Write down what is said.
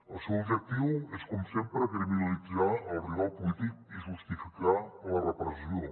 el seu objectiu és com sempre criminalitzar el rival polític i justificar la repressió